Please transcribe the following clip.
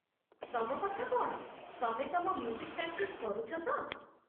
ତମ କଥା କ'ଣ, ତମେ ତମ ମ୍ୟୁଜିକ୍ ପ୍ରାକ୍ଟିସ୍ କରୁଛ ତ?